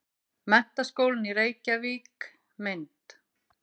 Menntaskólinn í Reykjavík- mynd.